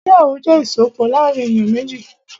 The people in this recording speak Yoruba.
Ìgbéyàwó jẹ́ ìsopọ̀ láàrín èyàn méjì.